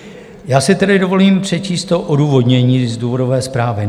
Já si tedy dovolím přečíst to odůvodnění z důvodové zprávy.